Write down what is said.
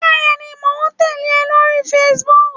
Bẹẹni, mo ń tẹle ọ lórí Facebook.